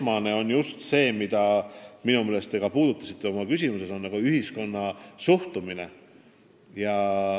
Põhiline on see, mida te ka oma küsimuses märkisite: nimelt ühiskonna suhtumine.